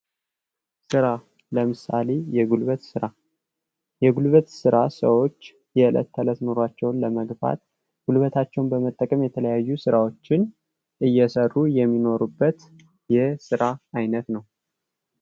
ስራ ለምሳሌ የጉልበት ስራ የጉልበት ስራ ሰዎች የእለት ተዕለት ኑሯቸውን ለመግፋት ጉልበታቸውን በመጠቀም የተለያዩ ስራዎችን እየሰሩ የሚኖሩበት የስራ አይነት ነው ።